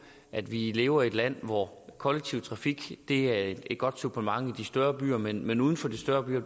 at vi lever i et land hvor kollektiv trafik er et godt supplement i de større byer men men uden for de større byer